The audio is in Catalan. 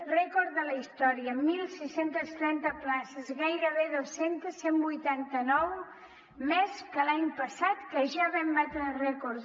rècord de la història setze trenta places gairebé dos centes cent i vuitanta nou més que l’any passat que ja vam batre rècords